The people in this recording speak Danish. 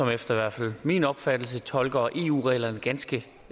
efter min opfattelse tolker eu reglerne ganske